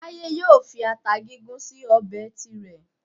Táyé yóò fi ata gúngún sí ọbẹ̀ tirẹ̀